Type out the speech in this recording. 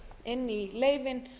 við setjum auðvitað inn